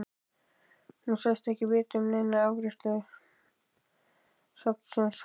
Hún sagðist ekki vita um neina eftirgrennslan af safnsins hálfu.